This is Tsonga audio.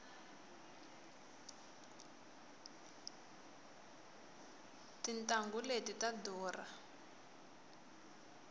tintanghu leti ta durha